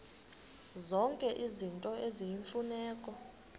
zonke izinto eziyimfuneko